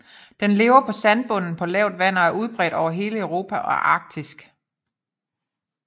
Den lever på sandbund på lavt vand og er udbredt over hele Europa og Arktis